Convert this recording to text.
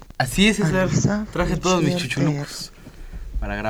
алиса включи ртр